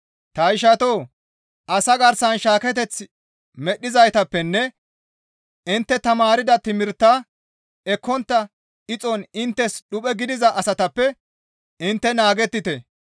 Ta ishatoo! Asa garsan shaaketeth medhdhizaytappenne intte tamaarda timirtaa ekkontta ixon inttes dhuphe gidiza asatappe intte naagettite.